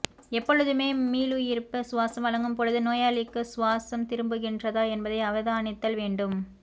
எப்பொழுதுமே மீளுயிர்ப்புச் சுவாசம் வழங்கும் பொழுது நோயாளிக்கு சுவாசம் திரும்புகின்றதா என்பதை அவதானித்தல் வேண்டும்